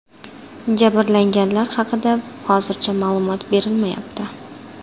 Jabrlanganlar haqida hozircha ma’lumot berilmayapti.